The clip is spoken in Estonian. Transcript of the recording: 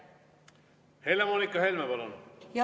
Helle-Moonika Helme, palun!